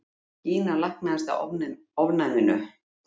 Gína læknaðist af ofnæminu!